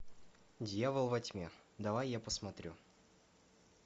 дьявол во тьме давай я посмотрю